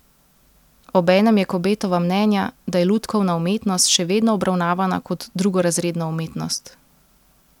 Obenem je Kobetova mnenja, da je lutkovna umetnost še vedno obravnavana kot drugorazredna umetnost.